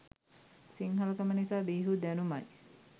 සිංහලකම නිසා බිහි වූ දැනුමයි.